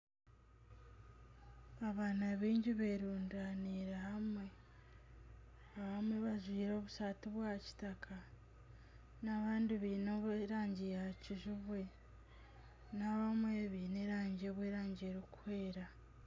Abaana baingi beerundaniire hamwe abamwe bajwire obusaati bwa kitaka n'abandi baine erangi ya kijubwe n'abandi baine obw'erangi erikwera